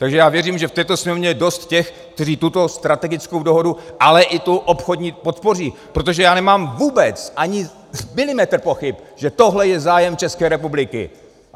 Takže já věřím, že v této Sněmovně je dost těch, kteří tuto strategickou dohodu, ale i tu obchodní podpoří, protože já nemám vůbec ani milimetr pochyb, že tohle je zájem České republiky.